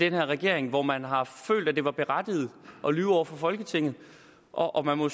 her regering hvor man har følt at det var berettiget at lyve over for folketinget og og man må